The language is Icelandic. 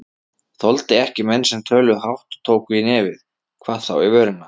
Þoldi ekki menn sem töluðu hátt og tóku í nefið, hvað þá í vörina.